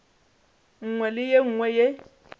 nngwe le ye nngwe ye